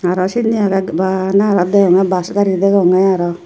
araw sinni age bana araw deonge bas gari degonge araw.